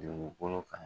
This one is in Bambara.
Dugukolo kan